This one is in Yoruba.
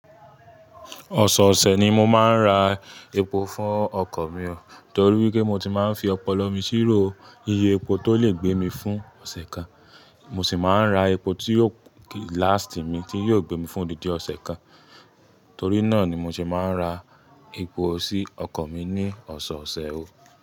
Ọ̀sọ̀ọ̀ṣẹ̀ ni mo máa ń ra epo fún ọkọ̀ mi o, torí wipé mo ti máa ń fi ọpọlọ mi síró iye epo tó lè gbé mi fún ọ̀ṣẹ̀ kan. Mo sì máa ń ra epo tí yóò kí lástì mí, tí yóò gbé mi fún odidi ọ̀ṣẹ̀ kan. Torí náà ni mo sì máa ń ra epo sí ọkọ̀ mi ní ọ̀ṣẹ̀ọ̀ṣẹ̀ o.